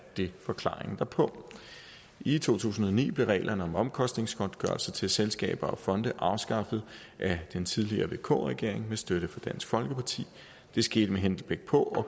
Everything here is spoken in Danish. det forklaringen derpå i to tusind og ni blev reglerne om omkostningsgodtgørelse til selskaber og fonde afskaffet af den tidligere vk regering med støtte fra dansk folkeparti det skete med henblik på at